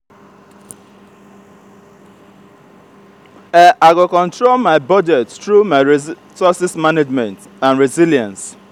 i go control my budget through my resources management and resilience.